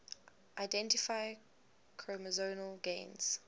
identify chromosomal gains